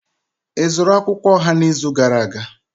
Ị zụrụ akwukwuo oha n'izu gara aga?